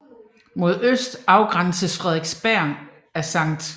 Mod øst afgrænses Frederiksberg af Skt